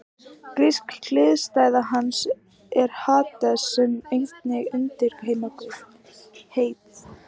Grísk hliðstæða hans er Hades sem einnig var undirheimaguð.